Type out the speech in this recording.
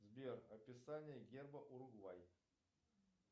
сбер описание герба уругвай